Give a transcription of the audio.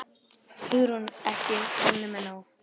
Hugrún: Ekki komnir með nóg?